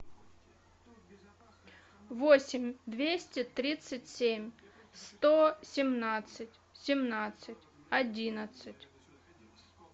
восемь двести тридцать семь сто семнадцать семнадцать одиннадцать